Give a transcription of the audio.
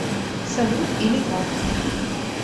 салют или как